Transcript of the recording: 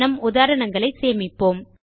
நம் உதாரணங்களை சேமிப்போம்